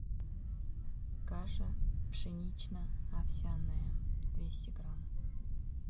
каша пшенично овсяная двести грамм